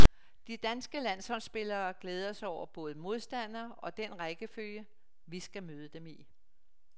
De danske landsholdsspillere glæder sig over både modstandere og den rækkefølge, vi skal møde dem i.